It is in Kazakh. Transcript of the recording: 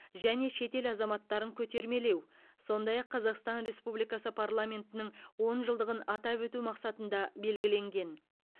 және шетел азаматтарын көтермелеу сондай ақ қазақстан республикасы парламентінің он жылдығын атап өту мақсатында белгіленген